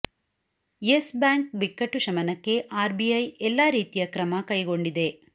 Yes bank ಬಿಕ್ಕಟ್ಟು ಶಮನಕ್ಕೆ R B I ಎಲ್ಲ ರೀತಿಯ ಕ್ರಮ ಕೈಗೊಂಡಿದೆ